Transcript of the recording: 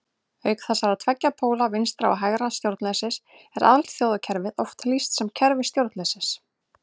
Auk þessara tveggja póla vinstra- og hægra stjórnleysis er alþjóðakerfinu oft lýst sem kerfi stjórnleysis.